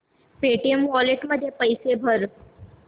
Paytm wallet मध्ये पैसे भर